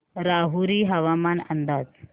राहुरी हवामान अंदाज